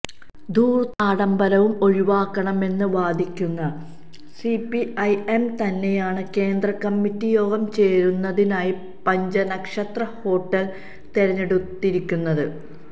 ധൂര്ത്തും ആഡംബരവും ഒഴിവാക്കണമെന്ന് വാദിക്കുന്ന സിപിഐഎം തന്നെയാണ് കേന്ദ്രകമ്മിറ്റി യോഗം ചേരുന്നതിനായി പഞ്ചനക്ഷത്ര ഹോട്ടല് തെരഞ്ഞെടുത്തിരിക്കുന്നത്